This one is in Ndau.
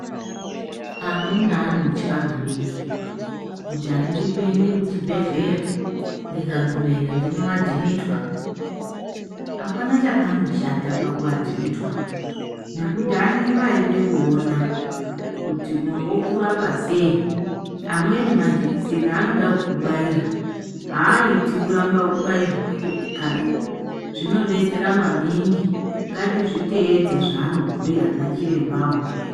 Amweni anotya maningi, kuti handidi kuende kuchibhedhleya, ndikagumeyo ndinoadhimitwa. Apana chakamboshata pakuadhimitwa, nekuti anonge ayide kuona kuti okurapa sei. Amweni majekiseni aanoda kukubaira, haaiti kuramba kubairwa uchibve kanyi. Zvinodetsera maningi, ngatizviteedze zvaanobhuya anachirembawo.